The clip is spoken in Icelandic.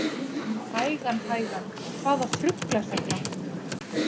Hægan hægan, hvaða þrugl er þetta?